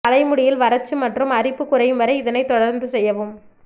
தலைமுடியில் வறட்சி மற்றும் அரிப்பு குறையும் வரை இதனை தொடர்ந்து செய்யவும்